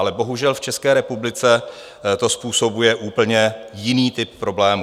Ale bohužel v České republice to způsobuje úplně jiný typ problémů.